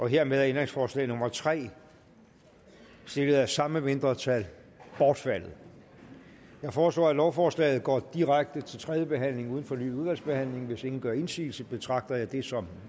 hermed er ændringsforslag nummer tre stillet af samme mindretal bortfaldet jeg foreslår at lovforslaget går direkte til tredje behandling uden fornyet udvalgsbehandling hvis ingen gør indsigelse betragter jeg det som